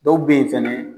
Dɔw bɛ yen fɛnɛ